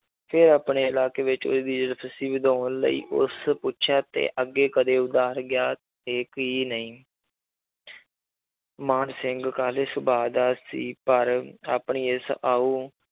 ਫਿਰ ਆਪਣੇ ਇਲਾਕੇ ਵਿੱਚ ਉਹਦੀ ਵਧਾਉਣ ਲਈ ਉਸ ਪੁੱਛਿਆ ਤੇ ਅੱਗੇ ਕਦੇ ਗਿਆ ਤੇ ਕੀ ਨਹੀਂ ਮਾਨ ਸਿੰਘ ਕਾਹਲੇ ਸੁਭਾਅ ਦਾ ਸੀ ਪਰ ਆਪਣੀ ਇਸ ਆਊ